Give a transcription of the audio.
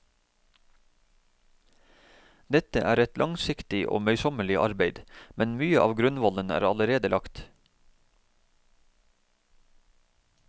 Dette er et langsiktig og møysommelig arbeid, men mye av grunnvollen er allerede lagt.